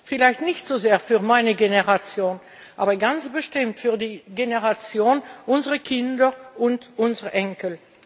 Vielleicht nicht so sehr für meine Generation, aber ganz bestimmt für die Generation unserer Kinder und unserer Enkel.